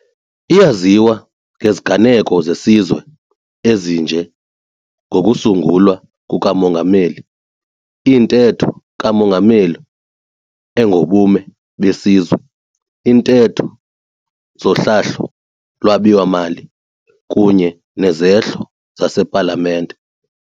Iyaziwa ngeziganeko zesizwe ezinje ngokusungulwa kukaMongameli, iNtetho kaMongameli engoBume beSizwe, iiNtetho zoHlahlo-lwabiwo mali, kunye nezehlo zasePalamente.